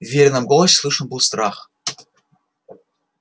в верином голосе слышен был страх